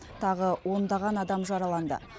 тағы ондаған адам жараланды